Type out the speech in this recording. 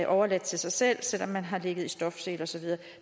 overladt til sig selv selv om man har ligget i stofsele og så videre